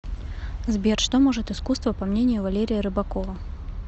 сбер что может искусство по мнению валерия рыбакова